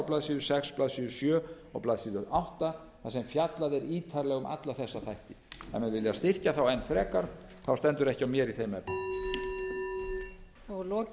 blaðsíðu sex blaðsíður sjö og blaðsíðu átta þar sem fjallað er ítarlega um alla þessa þætti ef menn vilja styrkja þá enn frekar stendur ekki á mér í þeim efnum